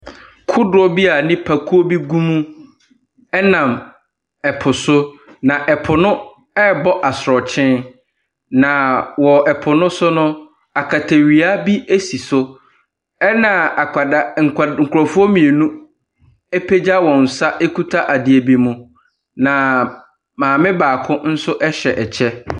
Kodoɔ bi a nipakuo bi gu mu ɛnam ɛpo so na ɛpo no ɛrebɔ asuɔkyen. Na wɔ ɛpo no so no akɛtɛwia bi esi so ɛna akwadaa nkorɔfoɔ mmienu apegya wɔn sa ekuta adeɛ bi mu. Na maame baako nso ɛhyɛ ɛkyɛ.